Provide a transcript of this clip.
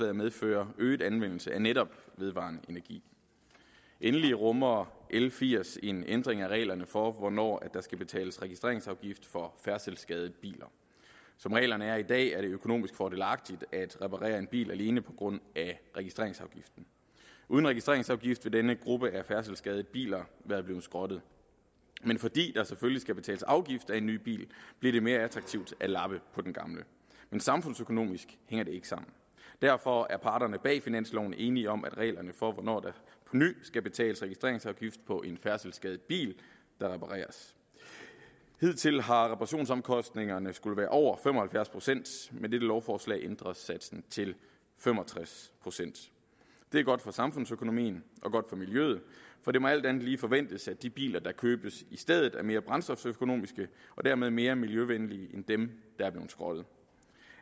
at medføre øget anvendelse af netop vedvarende energi endelig rummer l firs en ændring af reglerne for hvornår der skal betales registreringsafgift for færdselsskadede biler som reglerne er i dag er det økonomisk fordelagtigt at reparere en bil alene på grund af registreringsafgiften uden registreringsafgift ville denne gruppe af færdselsskadede biler være blevet skrottet men fordi der selvfølgelig skal betales afgift af en ny bil bliver det mere attraktivt at lappe på den gamle men samfundsøkonomisk hænger det ikke sammen derfor er parterne bag finansloven enige om reglerne for hvornår der på ny skal betales registreringsafgift på en færdselsskadet bil der repareres hidtil har reparationsomkostningerne skullet være over fem og halvfjerds procent med dette lovforslag ændres satsen til fem og tres procent det er godt for samfundsøkonomien og godt for miljøet for det må alt andet lige forventes at de biler der købes i stedet er mere brændstoføkonomiske og dermed mere miljøvenlige end dem der er blevet skrottet